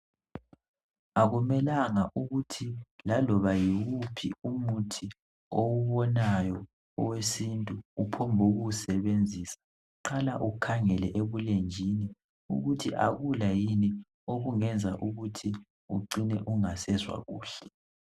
Akumelanga ukuthi laloba yiwuphi umuthi owubonayo owesintu uphonguwusebenzisa, qala ukhangele ebulenjini ukuthi akula yini okungenza ucine ungasezwa kuhle.